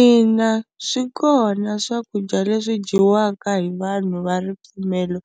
Ina swi kona swakudya leswi dyiwaka hi vanhu va ripfumelo